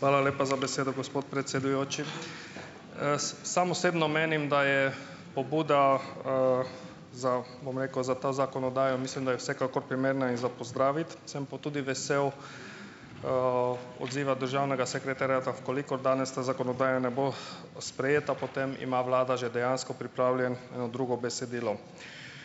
Hvala lepa za besedo, gospod predsedujoči. Sam osebno menim, da je pobuda, za, bom rekel, za ta zakonodajo mislim, da je vsekakor primerna in za pozdraviti. Sem pa tudi vesel odziva državnega sekretariata, v kolikor danes ta zakonodaja ne bo, sprejeta, potem ima vlada že dejansko pripravljeno eno drugo besedilo.